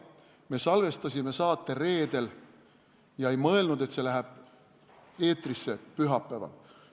Me salvestasime saate reedel ega mõelnud, et see läheb eetrisse pühapäeval.